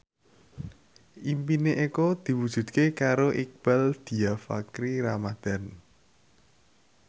impine Eko diwujudke karo Iqbaal Dhiafakhri Ramadhan